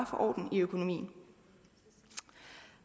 få orden i økonomien